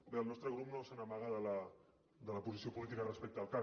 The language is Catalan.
bé el nostre grup no se n’amaga de la posició política respecte al cac